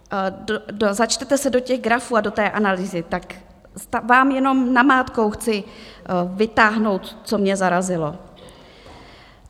začtete se do těch grafů a do té analýzy, tak vám jenom namátkou chci vytáhnout, co mě zarazilo.